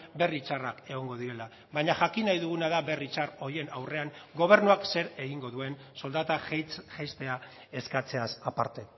berri txarrak egongo direla baina jakin nahi duguna da berri txar horien aurrean gobernuak zer egingo duen soldata jaistea eskatzeaz aparte